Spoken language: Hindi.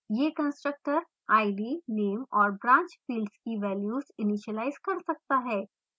यह constructor id name और branch fields की values इनीशिलाइज कर सकता है